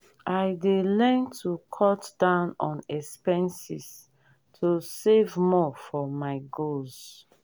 i dey learn to cut down on expenses to save more for my goals.